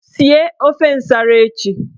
Sie ofe nsara echi!